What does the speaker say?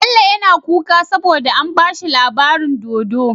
Bello yAna kuka saboda an bashi labarin dodo